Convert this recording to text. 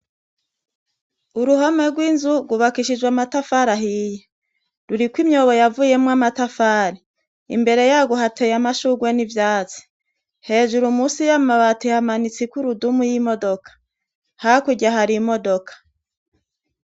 Uruhome rw'inzu, rwubakishijwe amatafari ahiye. Ruriko imyobo yavuyemwo amatafari. Imbere yarwo hateye amashurwe n'ivyatsi. Hejuru munsi y'amabati hamanitse ikurudumu y'imodoka. Hakurya hari imodoka.